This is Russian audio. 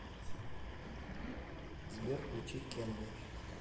сбер включи кенви